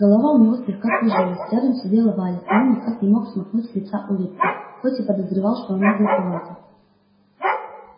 голова у него слегка кружилась рядом сидела валя и он никак не мог смахнуть с лица улыбку хоть и подозревал что она глуповата